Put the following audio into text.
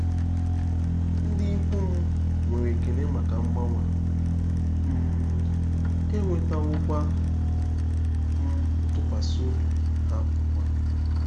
Ndị ikwu m nwere ekele maka mgbanwe a, um enwetawokwa m ntụkwasị obi ha ugbu a.